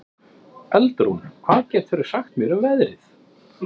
Eldrún, hvað geturðu sagt mér um veðrið?